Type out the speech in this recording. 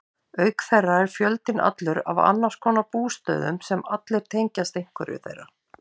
Auk þeirra er fjöldinn allur af annarskonar bústöðum sem allir tengjast einhverju þeirra.